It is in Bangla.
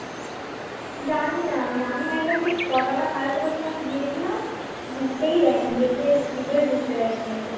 জানিনা আমি আমি একবার সেই ছটা না সাড়ে ছটার সময় গিয়েছিলাম ঢুকতেই দেয়নি গেটের ভেতরে ঢুকতে দেয়নি একদম